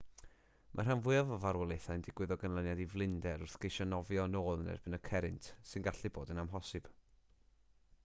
mae'r rhan fwyaf o farwolaethau'n digwydd o ganlyniad i flinder wrth geisio nofio yn ôl yn erbyn y cerrynt sy'n gallu bod yn amhosibl